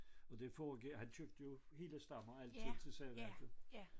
Og det foregik han købte jo hele stammer altid til savværket